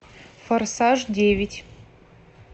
форсаж девять